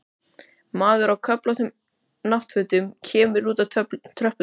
Maður á köflóttum náttfötum kemur út á tröppurnar.